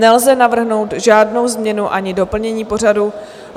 Nelze navrhnout žádnou změnu ani doplnění pořadu.